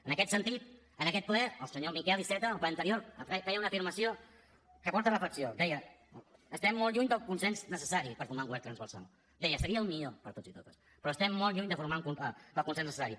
en aquest sentit en aquest ple el senyor miquel iceta al ple anterior feia una afirmació que porta a reflexió deia estem molt lluny del consens necessari per formar un govern transversal deia seria el millor per a tots i totes però estem molt lluny del consens necessari